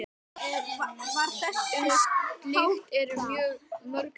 Um slíkt eru mörg dæmi.